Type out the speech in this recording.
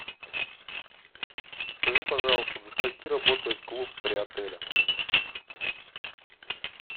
скажи пожалуйста до скольки работает клуб при отеле